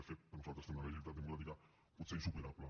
de fet per nosaltres tenen una legitimitat democràtica potser insuperable